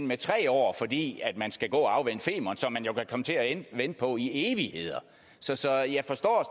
med tre år fordi man skal gå og man jo kan komme til at vente på i evigheder så så jeg forstår